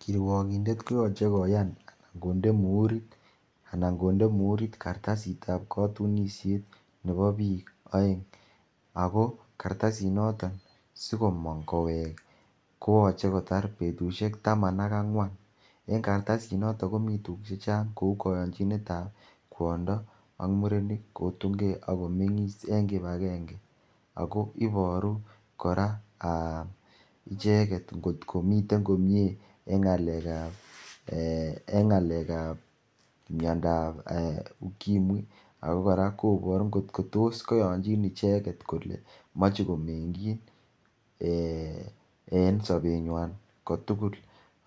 Kiruokindet koyoche koyan anan konde muirit kartasitab kotunishet nebo bik oeng ako kartasinoto sikomong kowek kooche kotar betushek taman ak angwan en kartasinoton komi tuguk chechang kou koyonchinetab kwondo ak murenik kotungee ak komengis en kipagenge ako iboru koraa aa icheket ingotkomiten komie en ngalekab aa , miondab ukimwi ako koraa koboru ngot kotos koyonjin icheket kole moche komengjin ee en sobenywan kotugul